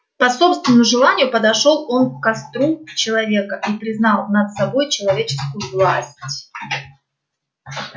по собственному желанию подошёл он к костру человека и признал над собой человеческую власть